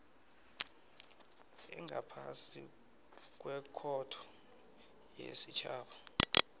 engaphasi kwekhotho yesitjhaba